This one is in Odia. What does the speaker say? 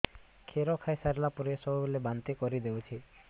କ୍ଷୀର ଖାଇସାରିଲା ପରେ ସବୁବେଳେ ବାନ୍ତି କରିଦେଉଛି